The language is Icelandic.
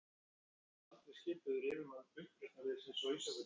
Ég mun aldrei skipa yður yfirmann uppreisnarliðsins á Ísafirði.